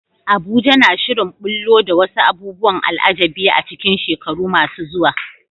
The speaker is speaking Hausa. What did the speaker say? Abuja na shirin ɓullo da wasu abubuwan al'ajabi a cikin shekaru masu zuwa.